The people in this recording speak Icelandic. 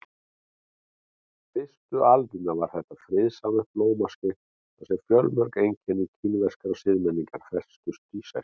Fyrstu aldirnar var þetta friðsamlegt blómaskeið þar sem fjölmörg einkenni kínverskrar siðmenningar festust í sessi.